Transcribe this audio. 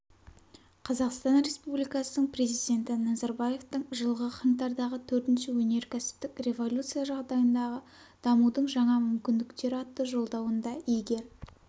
қазақстан республикасының президенті назарбаевтың жылғы қаңтардағы төртінші өнеркәсіптік революция жағдайындағы дамудың жаңа мүмкіндіктері атты жолдауында егер